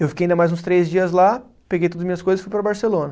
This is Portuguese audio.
Eu fiquei ainda mais uns três dias lá, peguei todas as minhas coisas e fui para Barcelona.